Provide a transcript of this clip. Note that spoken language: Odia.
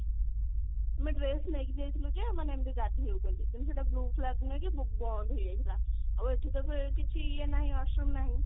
ଆମେ dress ନେଇକି ଯାଇଥିଲୁ ଯେ ମାନେ ଏମିତି ଗାଧେଇବୁ ବୋଲି କିନ୍ତୁ ସେଟା proof lab ନୁହେଁ କି ସେଟା ବନ୍ଦ ହେଇଯାଇଥିଲା ଆଉ ଏଠି ତ କିଛି ଇଏ ନାହିଁ washroom ନାହିଁ।